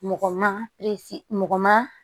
Mɔgɔ ma mɔgɔ ma